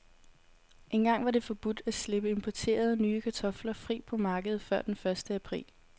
Engang var det forbudt at slippe importerede, nye kartofler fri på markedet før den første april.